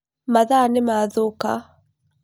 Mathaa nĩmathũka.